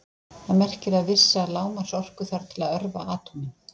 Það merkir að vissa lágmarksorku þarf til að örva atómin.